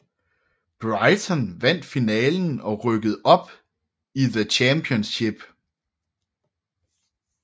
Brighton vandt finalen og rykkede op i The Championship